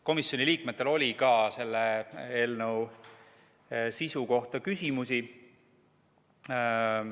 Komisjoni liikmetel oli ka selle eelnõu sisu kohta küsimusi.